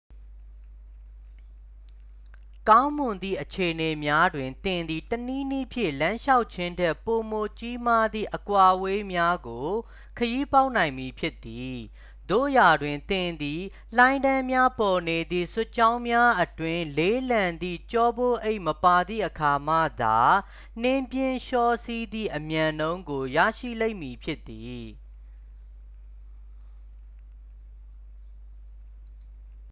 ကောင်းမွန်သည့်အခြေအနေများတွင် သင်သည် တစ်နည်းနည်းဖြင့် လမ်းလျှောက်ခြင်းထက် ပိုမိုကြီးမားသည့် အကွာအဝေးများကို ခရီးပေါက်နိုင်မည်ဖြစ်သည် သို့ရာတွင် သင်သည် လိုင်းတန်းများပေါ်နေသည့် စွတ်ကြောင်းများအတွင်း လေးလံသည့် ကျောပိုးအိတ်မပါသည့်အခါမှသာ နှင်းပြင်လျှောစီးသည့်အမြန်နှုန်းကို ရရှိလိမ့်မည်ဖြစ်သည်